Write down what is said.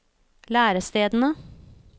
lærestedene